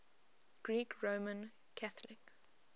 greek roman catholic